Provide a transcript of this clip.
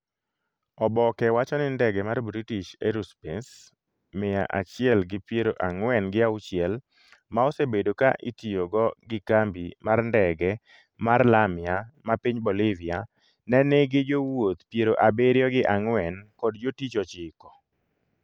oboke wacho ni ndege mar British Aerospace miya achiel gi piero ang'wen gi auchiel, ma osebedo ka itiyogo gi kambi mar ndege mar Lamia ma piny Bolivia, ne nigi jowuoth piero abiriyo gi ang'wen kod jotich ochiko